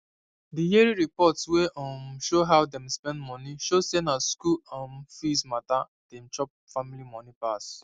the yearly report wey um show how them spend money show say na school um fees matter dey chop family money pass